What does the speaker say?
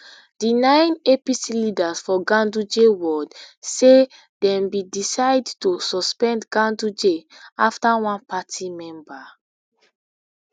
di nine apc leaders for ganduje ward say dem bin decide to suspend ganduje afta one party member